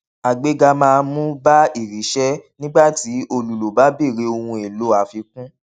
àgbéga máa mú bá iriṣẹ nígbà tí olùlò bá bèèrè ohunèlò àfikún